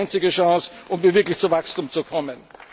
Das ist die einzige Chance, um wirklich zu Wachstum zu kommen.